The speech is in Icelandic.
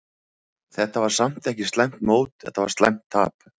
Þetta var samt ekki slæmt mót, þetta var slæmt tap.